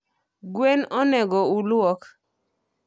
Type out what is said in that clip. Gwen onego oluok?